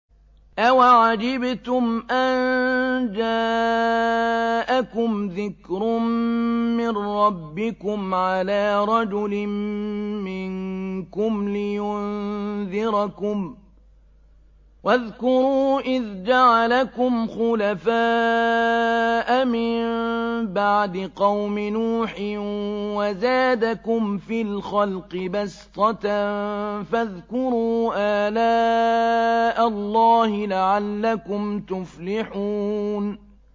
أَوَعَجِبْتُمْ أَن جَاءَكُمْ ذِكْرٌ مِّن رَّبِّكُمْ عَلَىٰ رَجُلٍ مِّنكُمْ لِيُنذِرَكُمْ ۚ وَاذْكُرُوا إِذْ جَعَلَكُمْ خُلَفَاءَ مِن بَعْدِ قَوْمِ نُوحٍ وَزَادَكُمْ فِي الْخَلْقِ بَسْطَةً ۖ فَاذْكُرُوا آلَاءَ اللَّهِ لَعَلَّكُمْ تُفْلِحُونَ